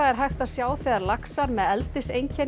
er hægt að sjá þegar laxar með